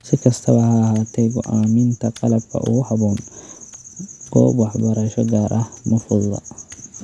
Si kastaba ha ahaatee, go'aaminta qalabka ugu habboon goob waxbarasho gaar ah ma fududa.